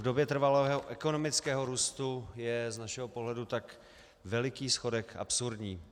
V době trvalého ekonomického růstu je z našeho pohledu tak veliký schodek absurdní.